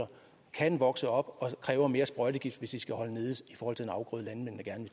kan vokse op og kræve mere sprøjtegift hvis det skal holdes nede i forhold til en afgrøde landmændene gerne